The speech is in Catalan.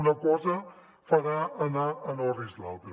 una cosa farà anar en orris l’altra